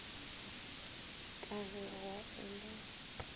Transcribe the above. ka ge gwaa e le